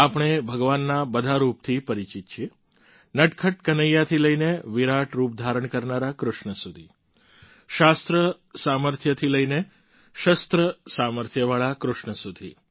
આપણે ભગવાનના બધા રૂપથી પરિચિત છીએ નટખટ કનૈયાથી લઈને વિરાટ રૂપ ધારણ કરનારા કૃષ્ણ સુધી શાસ્ત્ર સામર્થ્ય થી લઈને શસ્ત્ર સામર્થ્યવાળા કૃષ્ણ સુધી